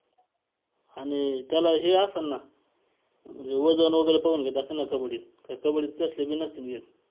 आणि त्याला हे असल ना म्हणजे वजन वगैरे बघून घेत असल ना कबड्डीत, काय कबड्डीत कसले बी नसतील घेत.